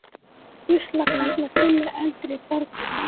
Ruslakarlar sinna eldri borgurum